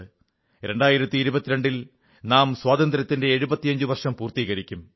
2022 ൽ നാം സ്വാതന്ത്ര്യത്തിന്റെ 75 വർഷം പൂർത്തീകരിക്കും